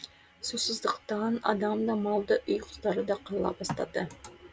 сусыздықтан адам да мал да үй құстары да қырыла бастады